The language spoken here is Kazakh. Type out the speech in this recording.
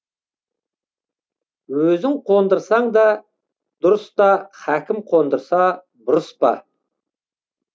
өзің қондырсаң да дұрыс та хакім қондырса бұрыс па